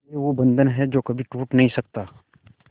ये वो बंधन है जो कभी टूट नही सकता